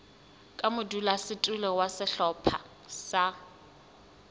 ka modulasetulo wa sehlopha sa